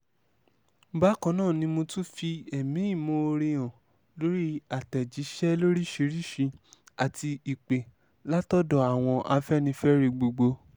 bákan náà ni mo tún fi ẹ̀mí ìmoore hàn lórí àtẹ̀jíṣẹ́ lóríṣiríṣiì àti ìpè látọ̀dọ̀ àwọn afẹ́nifẹ́re gbogbo